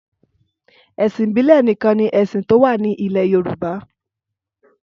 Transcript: Ẹ̀sìn ìbílẹ̀ nìkan ni ẹ̀sìn tó wà ní ilẹ̀ Yorùbá.